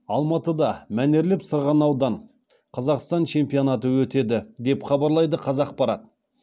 алматыда мәнерлеп сырғанаудан қазақстан чемпионаты өтеді деп хабарлайды қазақпарат